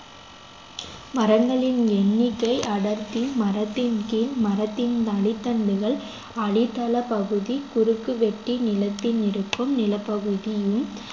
மரங்களின் எண்ணிக்கை அடர்த்தி மரத்தின் கீழ் மரத்தின் அடித்தண்டுகள் அடித்தள பகுதி குறுக்குவெட்டி நிலத்தில் இருக்கும் நிலப் பகுதியும்